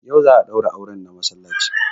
Yau za a daura auren na masallaci